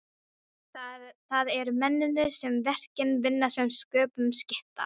Það eru mennirnir sem verkin vinna sem sköpum skipta.